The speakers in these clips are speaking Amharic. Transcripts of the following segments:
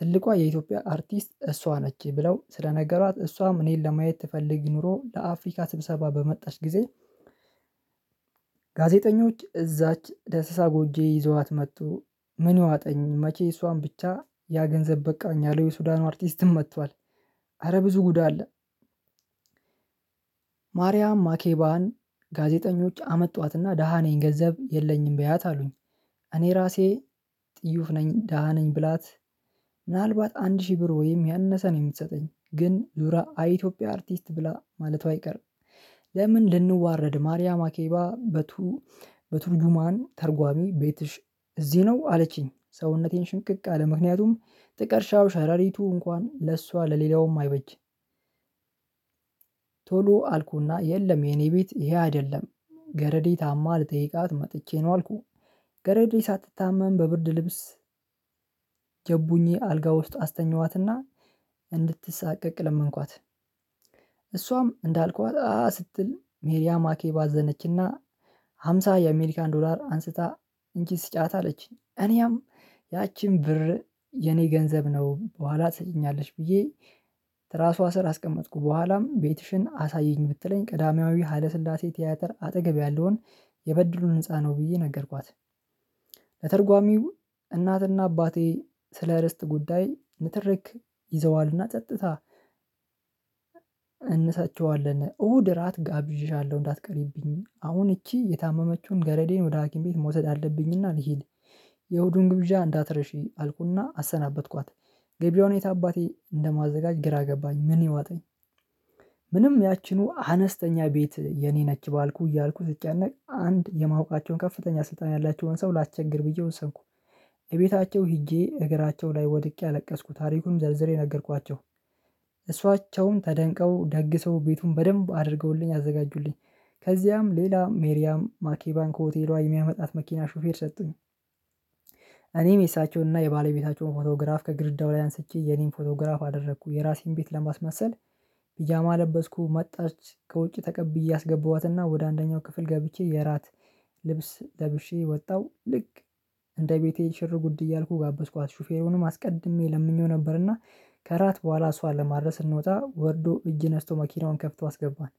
ትልቋ የኢትዮጵያ አርቲስት እሷ ነች ብለው ስለነገሯት እሷም እኔን ለማየት ትፈልጊ ኖሮ ለአፍሪካ ስብሰባ በመጣች ጊዜ። ጋዜጠኞች እዛች ደስሳ ጎጄ ይዘዋት መጡ። ምን ዋጠኝ መቼ እሷን ብቻ ያ ገንዘብ በቃኝ አለው የሱዳኑ አርቲስትም መጥቷል። አረ ብዙ ጉድ አለ። ማርያም ማኬባን ጋዜጠኞች አመጧትና ደሃ ነኝ ገንዘብ የለኝም በያት አሉኝ። እኔ ራሴ ጥዩፍ ነኝ ደሃ ነኝ ብላት። ምናልባት አንድ ሺህ ብር ወይም ያነሰ ነው የምትሰጠኝ ግን ዙራ አይ የኢትዮጵያ አርቲስት ብላ ማለቷ አይቀርም። ለምን ልንዋረድ ማርያም አኬባ በቱ? በቱርጁማን ተርጓሚ ቤትሽ እዚህ ነው አለችኝ። ሰውነቴን ሽንቅቅ አለ ምክንያቱም ጥቅርሻው ሸረሪቱ እንኳን ለእሷ ለሌላውም አይበጅ። ቶሎ አልኩና የለም የኔ ቤት ይሄ አይደለም። ገረዴ ታማ ልጠይቃት መጥቼ ነው አልኩኝ። ገረዴ ሳትታመም በብርድ ልብስ ጀቡኜ አልጋ ውስጥ አስተኛኋትና። እንድትሳቀቅ ለመንኳት። እሷም እንዳልኳት አ ስትል ሜሪያ ማኬባ አዘነችና። ሃምሳ የአሜሪካን ዶላር አንስታ እንቺ ስጫት አለችኝ እኔም ያቺን ብር የኔ ገንዘብ ነው በኋላ ትሰጪኛለች ብዬ። ትራሷ ስር አስቀመጥኩ በኋላም ቤትሽን አሳየኝ ብትለኝ ቅዳሜያዊ ሀለ ስላሴ ቲያትር አጠገብ ያለውን የበድሉ ህንፃ ነው ብዬ ነገርኳት። ለትርጓሚው እናትና አባቴ ስለ ርስት ጉዳይ ንትርክ ይዘዋልና ጸጥታ። እነሰቸዋለን እሁድ እራት ጋብዤሻለሁ እንዳትቀሪብኝ አሁን እቺ የታመመችውን ገረዴን ወደ ሀኪም ቤት መውሰድ አለብኝና ልሂድ። የእሁዱን ግብዣ እንዳትረሺ አልኩና አሰናበትኳት። ገቢዋን የት አባቴ እንደማዘጋጅ ግራ ገባኝ ምን ይዋጠኝ? ምንም ያቺኑ አነስተኛ ቤት የኔ ነች ባልኩ እያልኩ ስጨነቅ አንድ የማወቃቸውን ከፍተኛ ስልጣን ያላቸውን ሰው ላስቸግር ብዬ ወሰንኩ። እቤታቸው ሄጄ እግራቸው ላይ ወድቄ አለቀስኩ ታሪኩን ዘርዝሬ ነገርኳቸው። እሷቸውን ተደንቀው ደግሰው ቤቱን በደንብ አድርገውልኝ አዘጋጁልኝ። ከዚያም ሌላ ሜሪያም ማኪ ባንክ ሆቴሏ የሚያመጣት መኪና ሹፌር ሰጡኝ። እኔም የሳቸውንና የባለቤታቸውን ፎቶግራፍ ከግርዳው ላይ አንስቼ የኔን ፎቶግራፍ አደረኩ የራሴን ቤት ለማስመሰል። ቢጃማ ለበስኩ መጣች ከውጪ ተቀብዬ አስገባዋትና ወደ አንደኛው ክፍል ገብቼ የራት ልብስ ለብሼ ወጣሁ ልክ እንደ ቤቴ ሽር ጉድ እያልኩ ጋበዝኳት ሹፌሩንም አስቀድሜ ለምኜው ነበርና ከራት በኋላ እሷ ለማድረስ ስንወጣ ወርዶ እጅ ነስቶ መኪናውን ከፍቶ አስገባን።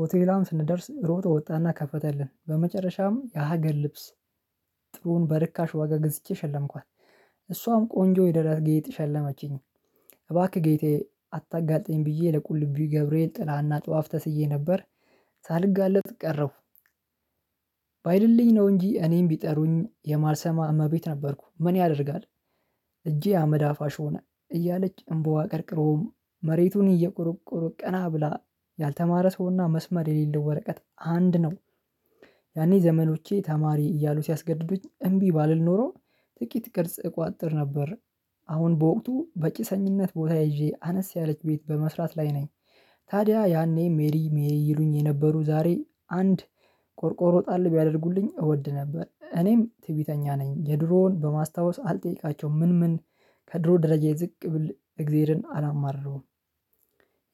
ሆቴሏም ስንደርስ ሮጠው ወጣና ከፈተልን በመጨረሻም የሀገር ልብስ። ጥሩውን በርካሽ ዋጋ ገዝቼ ሸለምኳት። እሷም ቆንጆ የደረት ጌጥ ሸለመችኝ። እባክህ ጌጤ አታጋልጠኝ ብዬ ለቁልቢው ገብርኤል ጥላና ጧፍ ተስዬ ነበር። ሳልጋለጥ ቀረሁ። ባይልልኝ ነው እንጂ እኔም ቢጠሩኝ የማልሰማ እመቤት ነበርኩ ምን ያደርጋል? እጄ አመድ አፋሽ ሆነ። እያለች እምቧ ቀርቅሮውም መሬቱን እየቆረቆረ ቀና ብላ ያልተማረ ሰውና መስመር የሌለው ወረቀት አንድ ነው። ያኔ ዘመዶቼ ተማሪ እያሉ ሲያስገድዱኝ እምቢ ባልል ኖሮ ጥቂት ቅርጽ እቋጥር ነበር። አሁን በወቅቱ በጭሰኝነት ቦታ ይዤ አነስ ያለች ቤት በመስራት ላይ ነኝ። ታዲያ ያኔ ሜሪ ሜሪ ይሉኝ የነበሩ ዛሬ አንድ ቆርቆሮ ጣል ቢያደርጉልኝ እወድ ነበር። እኔም ትዕቢተኛ ነኝ የድሮውን በማስታወስ አልጠይቃቸውም ምን ምን ከድሮ ደረጃ የዝቅ ብል እግዜርን አላማርርም።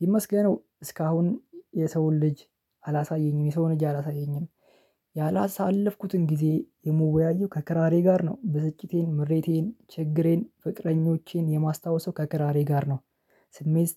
ይመስገነው እስካሁን የሰውን ልጅ አላሳየኝም የሰውን እጅ አላሳየኝም። ያላሳለፍኩትን ጊዜ የመወያየው ከክራሬ ጋር ነው ብስጭቴን ምሬቴን ችግሬን ፍቅረኞቼን የማስታወሰው ከክራሬ ጋር ነው። ስሜት